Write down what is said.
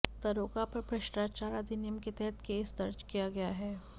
दरोगा पर भ्रष्टाचार अधिनियम के तहत केस दर्ज किया गया है